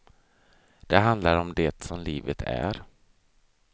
Det handlar om det som livet är.